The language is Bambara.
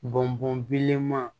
Bɔn bɔnlenma